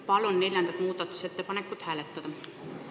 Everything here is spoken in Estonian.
Palun neljandat muudatusettepanekut hääletada!